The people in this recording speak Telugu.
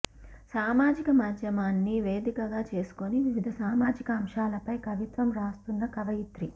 సామాజిక మాధ్యమాన్ని వేదికగా చేసుకొని వివిధ సామాజికాంశాలపై కవిత్వం రాస్తున్న కవయిత్రి